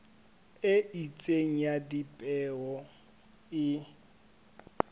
e itseng ya dipeo e